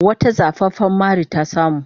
Wata zafafan mari ta samu.